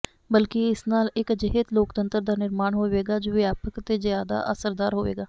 ਬਲਕਿ ਇਸ ਨਾਲ ਇਕ ਅਜਿਹੇ ਲੋਕਤੰਤਰ ਦਾ ਨਿਰਮਾਣ ਹੋਵੇਗਾ ਜੋ ਵਿਆਪਕ ਤੇ ਜ਼ਿਆਦਾ ਅਸਰਦਾਰ ਹੋਵੇਗਾ